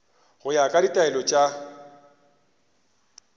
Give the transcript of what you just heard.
go ya ka ditaelo tša